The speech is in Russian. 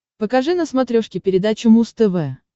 покажи на смотрешке передачу муз тв